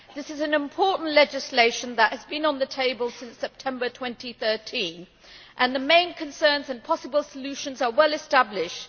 This is important legislation that has been on the table since September 2013, and the main concerns and possible solutions are well established.